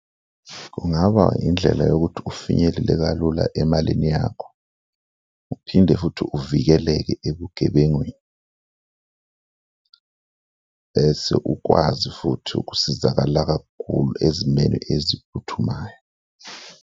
Kungaba indlela yokuthi ufinyelele kalula emalini yakho uphinde futhi uvikeleke ebugebengwini bese ukwazi futhi ukusizakala kakhulu ezimeni eziphuthumayo.